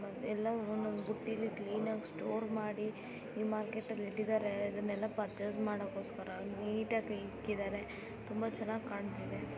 ಎಲ್ಲಾ ಒಂದೊಂದ್ ಒಂದ್ ಬುಟ್ಟೀಲಿ ಕ್ಲೀನ್ ಆಗಿ ಸ್ಟೋರ್ ಮಾಡಿ ಈ ಮಾರ್ಕೆಟ್ ಅಲ್ಲಿ ಇಟ್ಟಿದಾರೆ ಇದನ್ನೆಲ್ಲಾ ಪರ್ಚೆಸ್ ಮಾಡ್ಕೊಸ್ಕರ ನೀಟಾಗಿ ಕ್ಲಿಇಕ್ಕಿದಾರೆ ತುಂಬಾ ಚನ್ನಾಗಿ ಕಾಣ್ತಿದೆ.